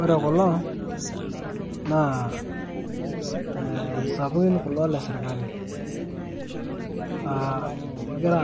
Ore kulo naa, eh isapukin kulo lesirkali. Egira